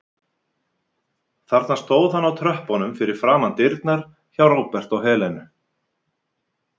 Þarna stóð hann á tröppunum fyrir framan dyrnar hjá Róbert og Helenu.